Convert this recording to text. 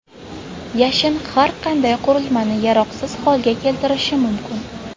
Yashin har qanday qurilmani yaroqsiz holga keltirishi mumkin.